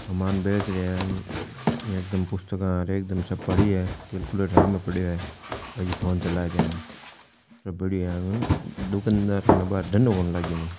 सामान बेच रहिया है यहां एक दम पुस्तका इया एकदम सब पड़ी है कैलकुलेटर सामे पड़ियो है भाई फ़ोन चला रहियो है सब बढ़िया है दुकानदार कने अबार धधों कोणी लाग्यो मन।